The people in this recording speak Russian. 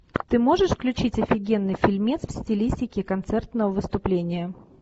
ты можешь включить офигенный фильмец в стилистике концертного выступления